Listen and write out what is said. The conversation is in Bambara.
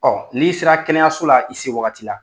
Ɔ n'i sera kɛnɛyaso la i se wagati la